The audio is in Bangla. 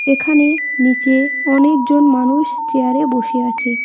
এখানে নীচে অনেকজন মানুষ চেয়ারে বসে আছে।